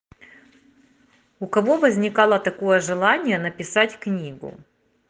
у кого возникало такое желание написать книгу